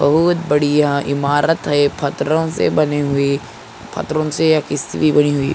बढ़िया इमारत है पत्रों से बनी हुई खतरों से या किसी भी--